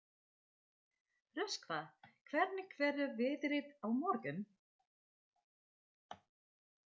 Röskva, hvernig verður veðrið á morgun?